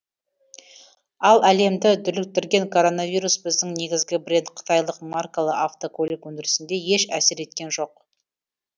ал әлемді дүрліктірген коронавирус біздің негізгі бренд қытайлық маркалы автокөлік өндірісіне еш әсер еткен жоқ